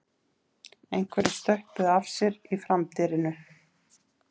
Einhverjir stöppuðu af sér í framdyrinu